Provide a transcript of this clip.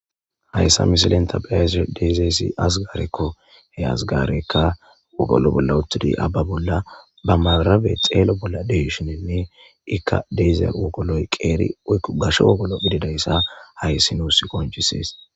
hayssa misilen tabayes deezeesi azigarekko he azgaarekka wogolo bolla uttidi abba bolla ba marabe xeelo bolla deishininne ikka deeze wogoloy qeeri woykko gasho wogolo bididayssa hayssi nuus konchisees